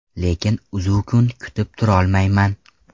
Lekin uzzukun kutib turolmayman.